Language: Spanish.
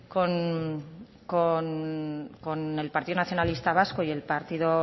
con el partido nacionalista vasco y el partido